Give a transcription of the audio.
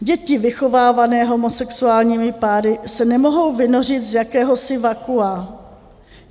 Děti vychovávané homosexuálními páry se nemohou vynořit z jakéhosi vakua.